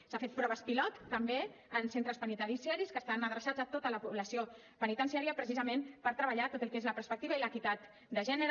s’han fet proves pilot també en centres penitenciaris que estan adreçats a tota la població penitenciària precisament per treballar tot el que és la perspectiva i l’equitat de gènere